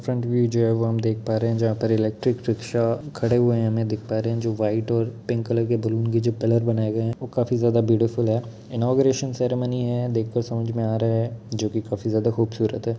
Front view जो है वो हम देख पा रहे है जहां पर इलेक्ट्रिक रिक्शा खड़े हुए हमे दिख पा रहे है जो व्हाइट और पिंक कलर के बैलून की जो पिलर बनाये गए है वो काफी ज्यादा ब्यूटीफुल है इनॉग्रेशन सेरेमनी है देख के समझ में आ रहा है जो कि काफी ज्यादा खूबसूरत है।